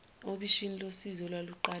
obishini losizi olwaluqale